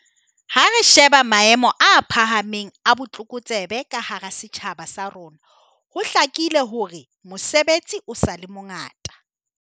Ha re sheba maemo a phahameng a botlokotsebe ka hara setjhaba sa bo rona, ho hlakile hore mosebetsi o sa le mongata.